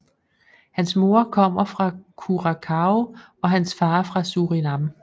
Hans mor kommer fra Curaçao og hans far fra Surinam